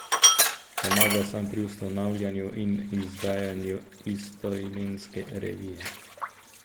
Pomagal sem pri ustanavljanju in izdajanju istoimenske revije.